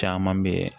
Caman bɛ yen